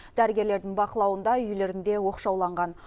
дәрігерлердің бақылауында үйлерінде оқшауланған